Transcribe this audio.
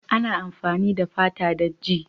Ana amfani da fata don ji.